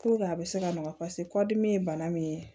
a bɛ se ka nɔgɔ paseke kɔdimi ye bana min ye